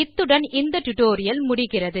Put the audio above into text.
இத்துடன் இந்த டுடோரியல் முடிகிறது